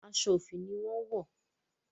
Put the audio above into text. Aso ofi ní wón wọ.